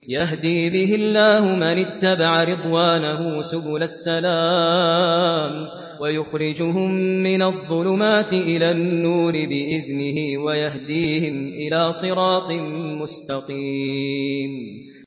يَهْدِي بِهِ اللَّهُ مَنِ اتَّبَعَ رِضْوَانَهُ سُبُلَ السَّلَامِ وَيُخْرِجُهُم مِّنَ الظُّلُمَاتِ إِلَى النُّورِ بِإِذْنِهِ وَيَهْدِيهِمْ إِلَىٰ صِرَاطٍ مُّسْتَقِيمٍ